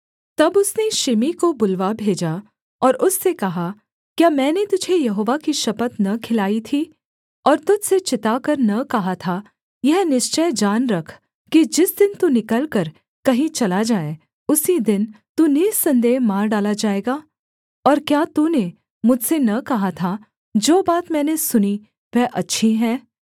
तब उसने शिमी को बुलवा भेजा और उससे कहा क्या मैंने तुझे यहोवा की शपथ न खिलाई थी और तुझ से चिताकर न कहा था यह निश्चय जान रख कि जिस दिन तू निकलकर कहीं चला जाए उसी दिन तू निःसन्देह मार डाला जाएगा और क्या तूने मुझसे न कहा था जो बात मैंने सुनी वह अच्छी है